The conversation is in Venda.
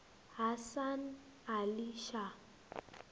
hasan ali shah